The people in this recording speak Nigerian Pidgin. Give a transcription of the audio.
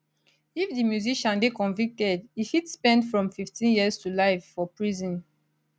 if di musician dey convicted e fit spend from 15 years to life for prison